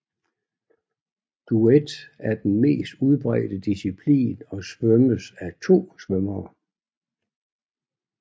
Duet er den mest udbredte disciplin og svømmes af 2 svømmere